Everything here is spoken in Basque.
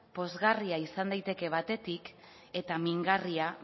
pozgarria izan daiteke batetik eta mingarria